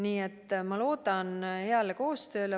Nii et ma loodan heale koostööle.